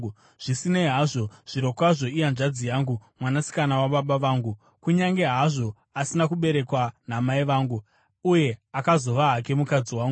Zvisinei hazvo, zvirokwazvo ihanzvadzi yangu, mwanasikana wababa vangu kunyange hazvo asina kuberekwa namai vangu; uye akazova hake mukadzi wangu.